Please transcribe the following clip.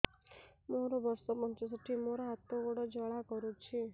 ମୋର ବର୍ଷ ପଞ୍ଚଷଠି ମୋର ହାତ ଗୋଡ଼ ଜାଲା କରୁଛି